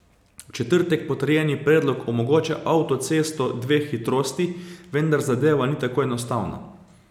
V četrtek potrjeni predlog omogoča avtocesto dveh hitrosti, vendar zadeva ni tako enostavna.